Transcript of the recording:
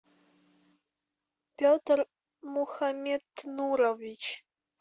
петр мухаметнурович